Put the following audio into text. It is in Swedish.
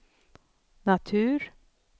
natur